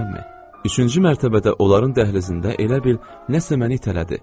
Üçüncü mərtəbədə onların dəhlizində elə bil nəsə məni itələdi.